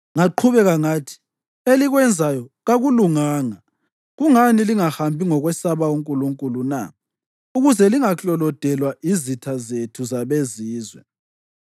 Ngaqhubeka ngathi, “Elikwenzayo kakulunganga. Kungani lingahambi ngokwesaba uNkulunkulu na ukuze lingaklolodelwa yizitha zethu zabeZizwe?